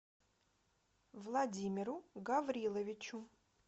владимиру гавриловичу